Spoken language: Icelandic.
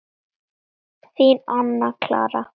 Þín, Anna Clara.